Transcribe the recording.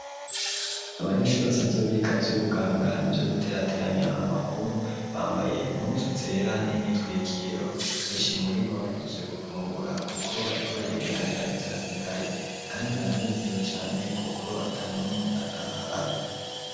Abanyeshure basanzwe biga ivy'ubuganga nivyo guterateranya amakuru bambaye impuzu zera n'imyitwikiro benshi muribo bahejeje gufungura kuko bariko baregeranya ivyasigaye kandi baranezeriwe cane kuko atanumwe atahaze.